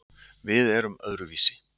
Við erum öðruvísi